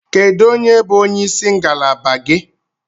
Kedu onye bụ onye isi ngalaba gị?